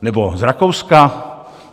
Nebo z Rakouska?